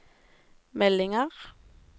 meldinger